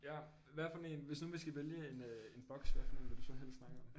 Ja hvad for en hvis nu vi skal vælge en øh en boks hvad for en vil du så helst snakke om